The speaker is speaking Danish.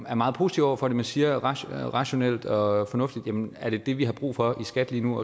er meget positiv over for det men siger rationelt rationelt og fornuftigt jamen er det det vi har brug for i skat lige nu